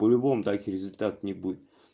по-любому такие результаты не будет